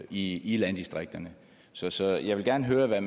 i i landdistrikterne så så jeg vil gerne høre hvad